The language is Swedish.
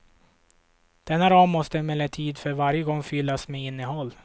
Denna ram måste emellertid för varje gång fyllas med innehåll.